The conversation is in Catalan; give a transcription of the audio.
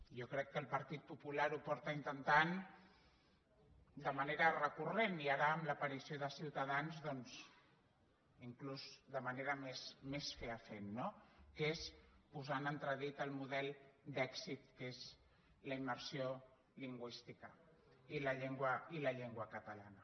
jo crec que el partit popular ho ha intentat de manera recurrent i ara amb l’aparició de ciutadans doncs inclús de manera més fefaent que és posar en entredit el model d’èxit que és la immersió lingüística i la llengua catalana